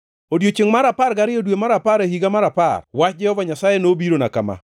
Odiechiengʼ mar apar gariyo, dwe mar apar, higa mar apar, wach Jehova Nyasaye nobirona kama: